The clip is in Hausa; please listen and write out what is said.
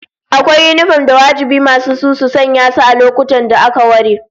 Akwai yinifom da wajibi masu su su sanya su a lokutan da aka ware